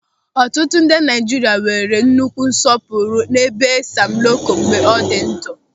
Ọtụtụ ndị Naịjirịa nwere nnukwu nsọpụrụ n'ebe Sam Loko nọ mgbe ọ dị ndụ.